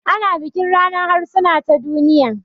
Ana bikin ranar harsuna ta duniya